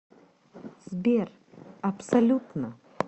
сбер абсолютно